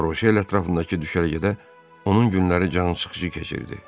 Laroşe ətrafındakı düşərgədə onun günləri cansıxıcı keçirdi.